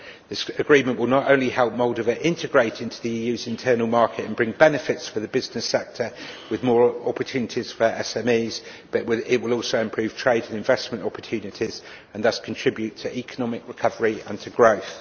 This agreement will not only help Moldova integrate into the EU's internal market and bring benefits for the business sector with more opportunities for SMEs, but it will also improve trade and investment opportunities and thus contribute to economic recovery and growth.